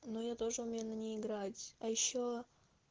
но я тоже умею на ней играть а ещё